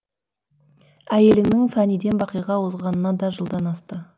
әйеліңнің фәниден бақиға озғанына да жылдан асты